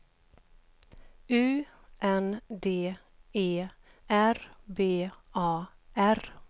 U N D E R B A R